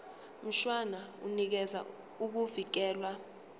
mshwana unikeza ukuvikelwa